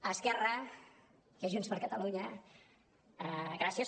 a esquerra i a junts per catalunya gràcies